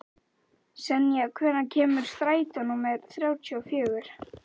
Senía, hvenær kemur strætó númer þrjátíu og fjögur?